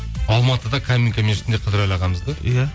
алматыда каминка мешітінде қыдырәлі ағамызды иә